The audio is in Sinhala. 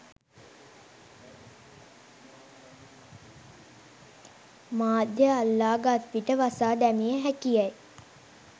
මාධ්‍ය අල්ලා ගත් විට වසා දැමිය හැකි යැයි